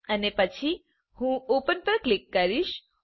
અને પછી હું ઓપન પર ક્લિક કરીશ